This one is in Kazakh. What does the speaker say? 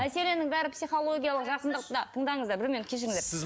мәселенің бәрі психологиялық жақындықта тыңдаңыздар бір минут кешіріңіздер